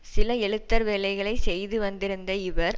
சில எழுத்தர் வேலைகளை செய்து வந்திருந்த இவர்